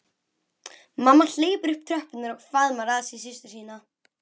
Mamma hleypur upp tröppurnar og faðmar að sér systur sína.